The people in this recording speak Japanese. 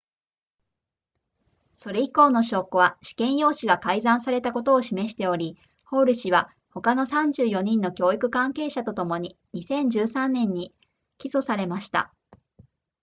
それ以降の証拠は試験用紙が改ざんされたことを示しておりホール氏は他の34人の教育関係者とともに2013年に起訴されました